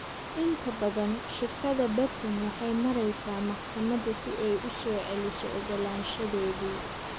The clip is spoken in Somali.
Inta badan, shirkadda Betin waxay maraysaa maxkamadda si ay u soo celiyo ogolaanshadeedii.